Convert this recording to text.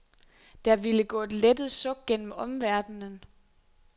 Der ville gå et lettet suk gennem omverdenen.